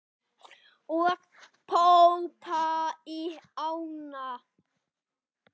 Og pompa í ána?